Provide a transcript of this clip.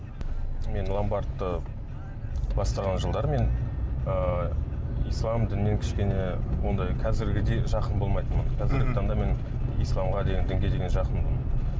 мен ломбардты басқарған жылдары мен ыыы ислам дінінен кішкене ондай қазіргідей жақын болмайтынмын мхм қазіргі таңда мен исламға деген дінге деген жақынмын